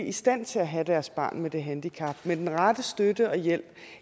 i stand til at have deres børn med det handicap hjemme med den rette støtte og hjælp